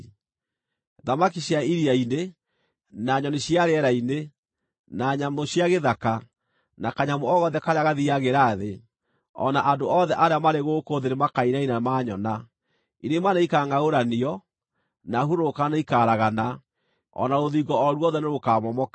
Thamaki cia iria-inĩ, na nyoni cia rĩera-inĩ, na nyamũ cia gĩthaka, na kanyamũ o gothe karĩa gathiiagĩra thĩ, o na andũ othe arĩa marĩ gũkũ thĩ nĩmakainaina maanyona. Irĩma nĩikangʼaũranio, na hurũrũka nĩikaragana, o na rũthingo o ruothe nĩrũkamomoka.